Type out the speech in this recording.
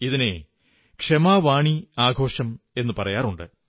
ഇതിനെ ക്ഷമാവാണി ആഘോഷം എന്നു പറയാറുണ്ട്